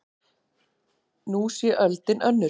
Nú sé öldin önnur.